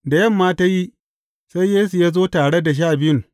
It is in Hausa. Da yamma ta yi, sai Yesu ya zo tare da Sha Biyun.